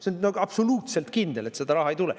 See on absoluutselt kindel, et seda raha ei tule.